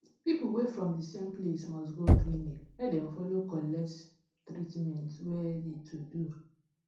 people wey from de place must go clinic make dem follow collect treatment wey de to do